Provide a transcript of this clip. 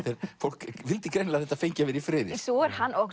fólk vildi greinilega að þetta fengi að vera í friði hann